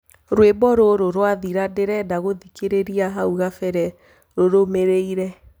rwĩmbo rũrũ rwathira ndĩrenda gũthĩkĩrĩrĩa hau kabere rurũmiriire